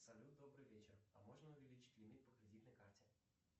салют добрый вечер а можно увеличить лимит по кредитной карте